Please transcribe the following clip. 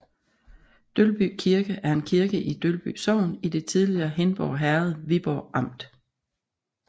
Dølby Kirke er en kirke i Dølby Sogn i det tidligere Hindborg Herred Viborg Amt